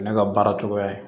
Ne ka baara cogoya ye